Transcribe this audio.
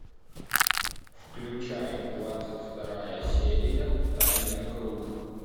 включай двадцать вторая серия тайный круг